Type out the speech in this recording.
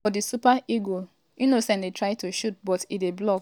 danger for di super eagles inside di um box 18 nshuti innocent try shot but e dey blocked.